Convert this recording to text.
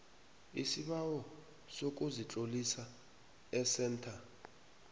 isibawo sokuzitlolisa esentha